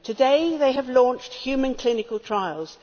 Today they have launched human clinical trials.